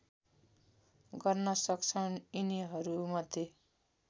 गर्न सक्छौँ यिनीहरूमध्ये